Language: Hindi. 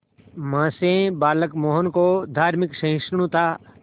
मां से बालक मोहन को धार्मिक सहिष्णुता